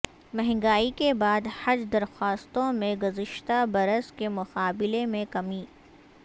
مہنگائی کے بعد حج درخواستوں میں گزشتہ برس کے مقابلے میں کمی